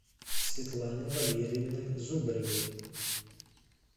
светланы валерьевны зубаревой